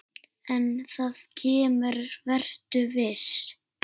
En það kemur, vertu viss.